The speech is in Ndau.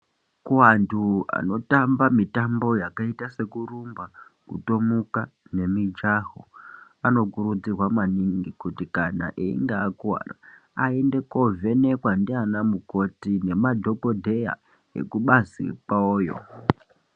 Kuantu anotamba mitambo yakaita sekurumba, kutomuka nemijaho anokurudzirwa maningi kuti kana einge akuwara aende kuovhenekwa ndiana mukoti ngemadhagodheya ekubazi kwavoyo.